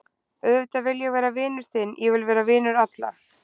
Auðvitað vil ég vera vinur þinn, ég vil vera vinur allra.